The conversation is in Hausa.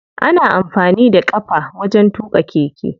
Ana amfani da ƙafa wajen tuƙa keke.